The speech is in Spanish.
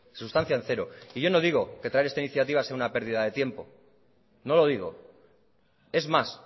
sustancia en cero y yo no digo que traer esta iniciativa sea una pérdida de tiempo no lo digo es más